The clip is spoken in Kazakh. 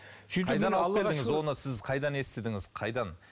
оны сіз қайдан естідіңіз қайдан